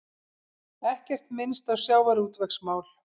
Ekkert minnst á sjávarútvegsmál